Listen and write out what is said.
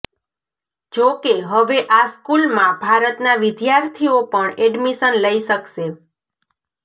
જો કે હવે આ સ્કૂલમાં ભારતના વિધાથીર્ઓ પણ એડમિશન લઇ શકશે